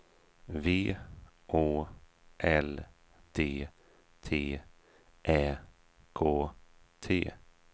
V Å L D T Ä K T